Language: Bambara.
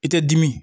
I tɛ dimi